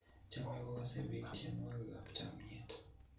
chamei kukasei biik tyenwekab chamyet